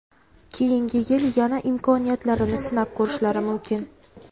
keyingi yil yana imkoniyatlarini sinab ko‘rishlari mumkin.